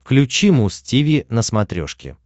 включи муз тиви на смотрешке